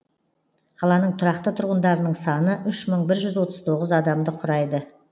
қаланың тұрақты тұрғындарының саны үш мың бір жүз отыз тоғыз адамды құрайды